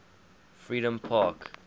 freedompark